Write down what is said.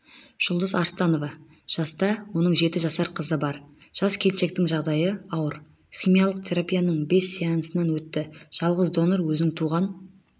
жұлдыз арыстанова жаста оның жеті жасар қызы бар жас келіншектің жағдайы ауыр химиялық терапияның бес сеансынан өтті жалғыз донор өзінің туған